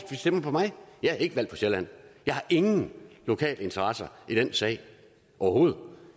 de stemmer på mig jeg er ikke valgt på sjælland jeg har ingen lokal interesse i den sag overhovedet